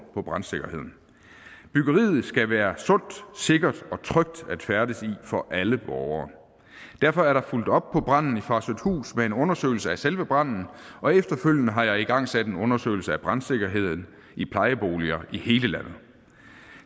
på brandsikkerheden byggeriet skal være sundt sikkert og trygt at færdes i for alle borgere derfor er der fulgt op på branden i farsøhthus med en undersøgelse af selve branden og efterfølgende har jeg igangsat en undersøgelse af brandsikkerheden i plejeboliger i hele landet